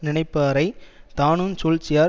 நினைப்பாரைத் தானுஞ் சூழ்ச்சியா